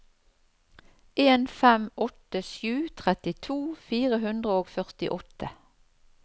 en fem åtte sju trettito fire hundre og førtiåtte